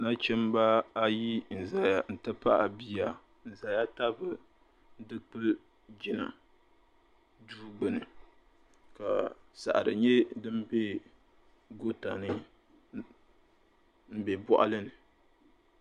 Nachimbaayi n zaya n ti pahi bia n zaya tabi dukpuli jina duu gbuni ka saɣari nye din be gootani m be bɔɣali ni.